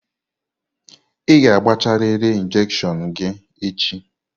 Ị ga-agbachariri injekshion gị echi!